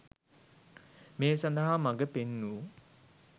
මේ සඳහා මඟ පෙන් වූ